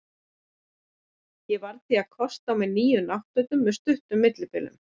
Ég varð því að kosta á mig nýjum náttfötum með stuttum millibilum.